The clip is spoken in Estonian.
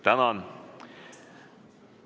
Tänan!